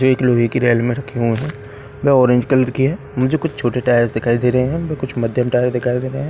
जो एक लोहे की रेल में रखे हुए हैं वेह ऑरेंज कलर की है मुझे कुछ छोटे टायर्स दिखाई दे रहे हैं व कुछ मध्यम टायर दिखाई दे रहे हैं।